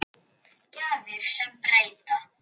Gjafir sem breyta.